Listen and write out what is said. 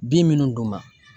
Bin minnu d'u ma